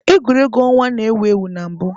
Egwuregwu ọnwa na-ewu ewu na mbụ.